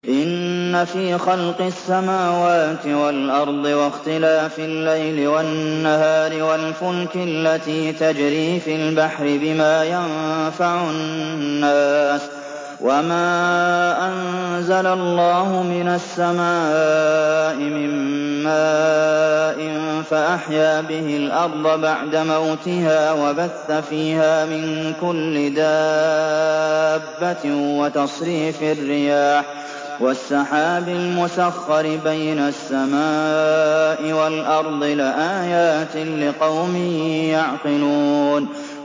إِنَّ فِي خَلْقِ السَّمَاوَاتِ وَالْأَرْضِ وَاخْتِلَافِ اللَّيْلِ وَالنَّهَارِ وَالْفُلْكِ الَّتِي تَجْرِي فِي الْبَحْرِ بِمَا يَنفَعُ النَّاسَ وَمَا أَنزَلَ اللَّهُ مِنَ السَّمَاءِ مِن مَّاءٍ فَأَحْيَا بِهِ الْأَرْضَ بَعْدَ مَوْتِهَا وَبَثَّ فِيهَا مِن كُلِّ دَابَّةٍ وَتَصْرِيفِ الرِّيَاحِ وَالسَّحَابِ الْمُسَخَّرِ بَيْنَ السَّمَاءِ وَالْأَرْضِ لَآيَاتٍ لِّقَوْمٍ يَعْقِلُونَ